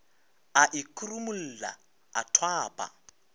a e khurumolla a thwapa